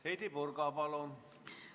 Heidy Purga, palun!